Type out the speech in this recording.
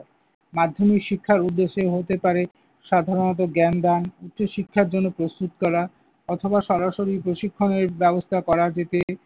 মাধ্যমিক শিক্ষার উদ্দেশ্য হতে পারে সাধারণত জ্ঞান দান, উচ্চ শিক্ষার জন্য প্রস্তুত করা অথবা সরাসরি প্রশিক্ষণের ব্যবস্থা করা যেতে